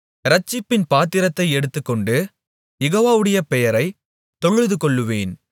இரட்சிப்பின் பாத்திரத்தை எடுத்துக்கொண்டு யெகோவாவுடைய பெயரைத் தொழுதுகொள்ளுவேன்